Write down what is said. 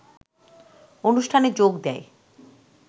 অনুষ্ঠানে যোগ দেয়